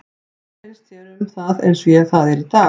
Hvað finnst þér um það eins og það er í dag?